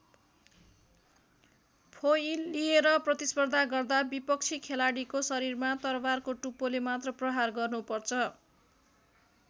Foil लिएर प्रतिस्पर्धा गर्दा विपक्षी खेलाडीको शरीरमा तरवारको टुप्पोले मात्र प्रहार गर्नुपर्छ।